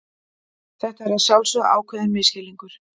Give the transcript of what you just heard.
Þetta er að sjálfsögðu ákveðinn misskilningur.